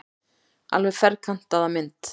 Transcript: Alveg ferkantaða mynd.